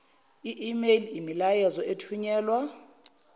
email imiyalezo ethunyelwa